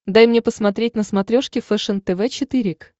дай мне посмотреть на смотрешке фэшен тв четыре к